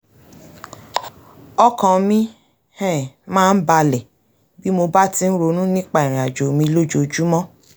ọkàn mi um máa ń bàlẹ̀ bí mo bá ti ń ronú nípa ìrìn àjò mi lójoojúmọ́